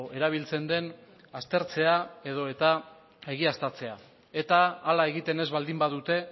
erabiltzen den aztertzea edo eta egiaztatzea eta hala egiten ez baldin badute